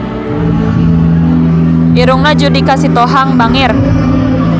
Irungna Judika Sitohang bangir